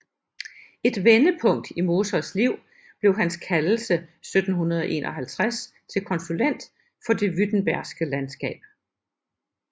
Et vendepunkt i Mosers liv blev hans kaldelse 1751 til konsulent for det württembergske landskab